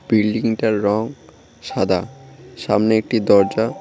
বিল্ডিংটার রং সাদা সামনে একটি দরজা।